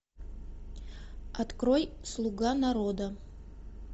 открой слуга народа